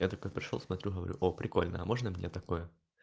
я такой пришёл смотрю говорю оо прикольная а можно мне такое